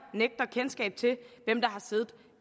nægter kendskab til hvem der har siddet